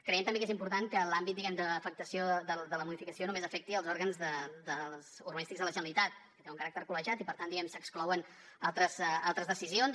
creiem també que és important que l’àmbit diguem ne d’afectació de la modificació només afecti els òrgans urbanístics de la generalitat que tenen un caràcter col·legiat i per tant diguem ne s’exclouen altres decisions